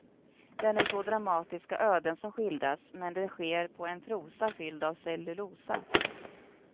Det är nog så dramatiska öden som skildras, men det sker på en prosa fylld av cellulosa.